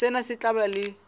sena se tla ba le